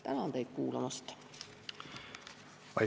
Tänan teid kuulamast!